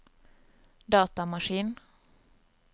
datamaskin